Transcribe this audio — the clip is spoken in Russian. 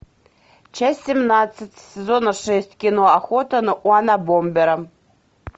часть семнадцать сезона шесть кино охота на унабомбера